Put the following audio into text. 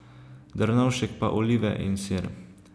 Drnovšek pa olive in sir.